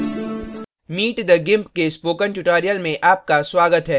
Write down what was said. meet the gimp के spoken tutorial में आपका स्वागत है